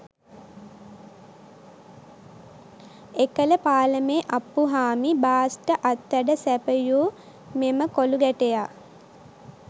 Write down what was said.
එකල පාලමේ අප්පුහාමි බාස්ට අත්වැඩ සැපයූ මෙම කොලූ ගැටයා